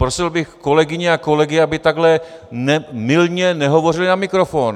Prosil bych kolegyně a kolegy, aby takhle mylně nehovořili na mikrofon.